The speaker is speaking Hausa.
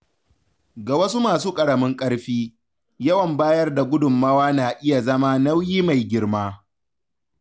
Ga wasu masu ƙaramin karfi, yawan bayar da gudunmawa na iya zama nauyi mai girma.